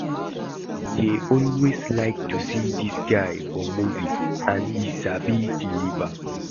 I dey always like to see dis guy for movie and he sabi deliver